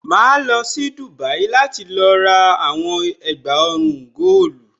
Màá lọ sí Dubai láti lọ rà àwọn ẹ̀gbà ọrùn góòlù.